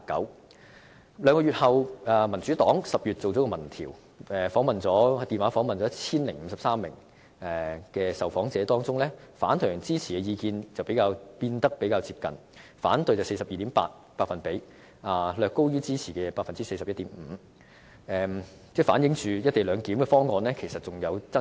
可是，在兩個月後，民主黨於10月進行了民調，電話詢問了 1,053 名受訪者，當中反對和支持的意見則變得較接近，反對為 42.8%， 略高於支持的 41.5%， 反映"一地兩檢"方案仍存有爭議。